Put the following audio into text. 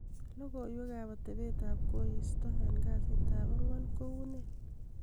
logoiwek ab atebet ab koristo en kasiit ab ang'wan ko unee